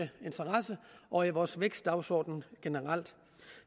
interesse og er i vores vækstdagsorden generelt